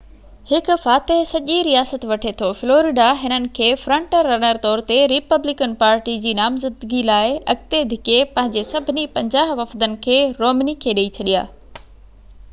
هڪ فاتح-سڄي-رياست وٺي ٿو، فلوريڊا هنن کي فرنٽر-رنر طور تي ريپبلڪن پارٽي جي نامزدگيءَ لاءِ اڳتي ڌڪي پنهنجي سڀني پنجاهه وفدن کي رومني کي ڏئي ڇڏيا،